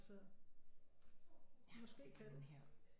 Så måske kan den